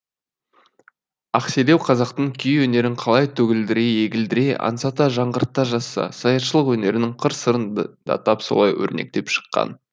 ақселеу қазақтың күй өнерін қалай төгілдіре егілдіре аңсата жаңғырта жазса саятшылық өнерінің қыр сырын да тап солай өрнектеп шыққан